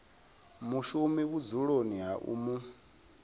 mushumi vhudzuloni ha u mu